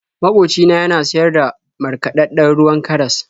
Makoci na yana siyar da markaɗaɗɗen ruwan karas.